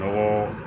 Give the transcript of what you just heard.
Mɔgɔ